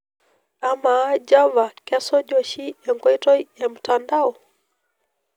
amaa java kesuj oshi enkoitoi ee mtandao